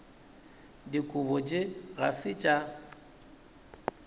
dikobo tše ga se tša